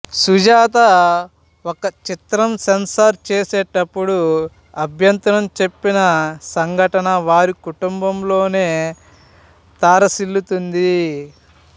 సుజాత ఒక చిత్రం సెన్సారు చేసేటపుడు అభ్యంతరం చెప్పిన సంఘటన వారి కుటుంబంలోనే తారసిల్లుతుంది